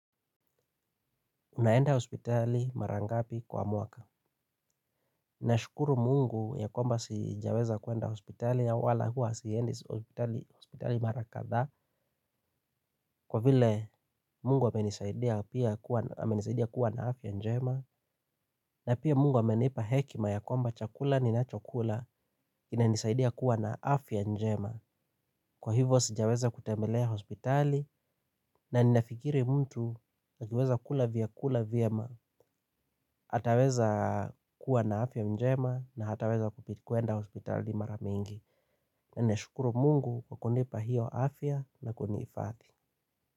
Unaenda hospitali marangapi kwa muaka. Nashukuru mungu ya kwamba sijaweza kuenda hospitali ya wala hua si endi hospitali marakadha kwa vile mungu amenisaidia kuwa na afya njema na pia mungu amenipa hekima ya kwamba chakula ni nachokula inanisaidia kuwa na afya njema. Kwa hivyo sijaweza kutambelea hospitali na ninafikiri mtu akiweza kula vya kula vye ma hataweza kuwa na afya mjema na hataweza kupitikuenda hospitali maramingi. Na nashukuru mungu kwa kunipa hiyo afya na kunifathi.